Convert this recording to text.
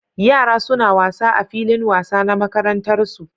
Yara suna wasa a filin wasa na makarantar su